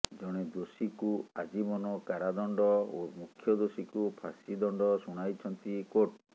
ଜଣେ ଦୋଷୀକୁ ଆଜୀବନ କାରାଦଣ୍ଡ ଓ ମୁଖ୍ୟ ଦୋଷୀକୁ ଫାଶୀ ଦଣ୍ଡ ଶୁଣାଇଛନ୍ତି କୋର୍ଟ